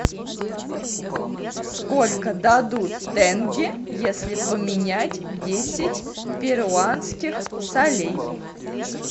сколько дадут тенге если поменять десять перуанских солей